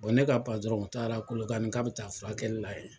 ne ka patɔrɔn o taara Kolokani k'a bɛ taa furakɛli la yen.